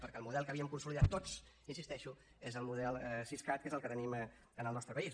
perquè el model que havíem consolidat tots hi insisteixo és el model siscat que és el que tenim en el nostre país